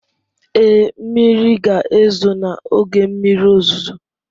Ee, mmiri ga-ezo n'oge mmiri ozuzo.